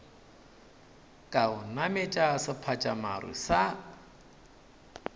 ka o nametše sephatšamaru sa